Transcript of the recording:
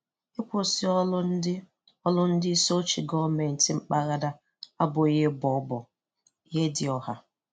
Ịkwụsị ọrụ ndị ọrụ ndị isioche gọọmenti mpaghara abụghị ịbọ ọbọ-Ihedioha.